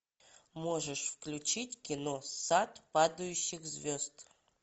можешь включить кино сад падающих звезд